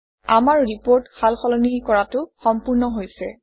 আমাৰ ৰিপৰ্ট সাল সলনি কৰাটো সম্পূৰ্ণ হৈছে